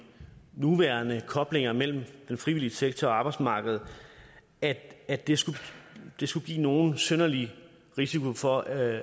nuværende koblinger mellem den frivillige sektor og arbejdsmarkedet at at det skulle det skulle give nogen synderlig risiko for at